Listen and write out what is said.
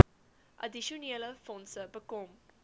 addisionele fondse bekom